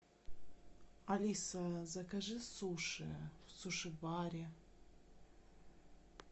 алиса закажи суши в суше баре